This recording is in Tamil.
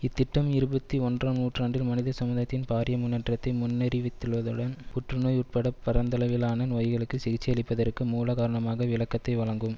இத்திட்டம் இருபத்தி ஒன்றாம் நூற்றாண்டில் மனிதசமுதாயத்தின் பாரிய முன்னேற்றத்தை முன்னறிவித்துள்ளதுடன் புற்றுநோய் உட்பட பரந்தளவிலான நோய்களுக்கு சிகிச்சையளிப்பதற்கு மூலகாரணமான விளக்கத்தை வழங்கும்